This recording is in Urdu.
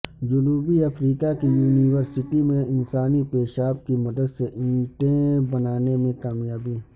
جنوبی افریقہ کی یونی ورسٹی میں انسانی پیشاب کی مدد سے اینٹیں بنانے میں کامیابی